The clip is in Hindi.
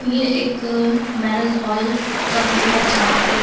ये एक मैंरिज हॉल का व्यू है जहाँ पे --